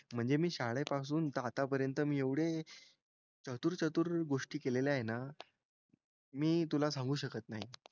म्हणजे मी शाळेपासून तर आतापर्यंत मी एवढे चतुर चतुर गोष्टी केलेल्या आहे ना मी तुला सांगू शकत नाही.